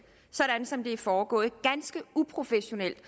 sådan som det er foregået ganske uprofessionelt